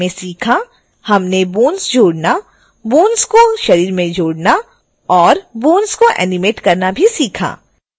हमने bones जोड़ना bones को शरीर में जोड़ना और bones को एनिमेट करना भी सीखा